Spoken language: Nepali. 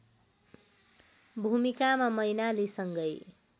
भूमिकामा मैनालीसँगै